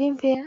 luni.